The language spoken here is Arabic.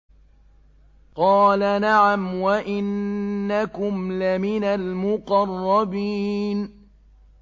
قَالَ نَعَمْ وَإِنَّكُمْ لَمِنَ الْمُقَرَّبِينَ